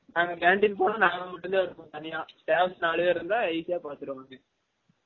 நாங்க canteen போனா நாங்க மட்டும் தான் இருப்போம் தனியா staff நாலு பேர் இருந்தா easy போலசுருவாங்க